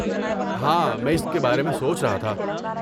ہاں، میں اس کے بارے میں سوچ رہا تھا۔